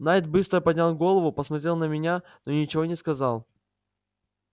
найд быстро поднял голову посмотрел на меня но ничего не сказал